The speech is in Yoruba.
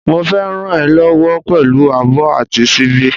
Mo fé ràn e lówó pèlú abó àti síbí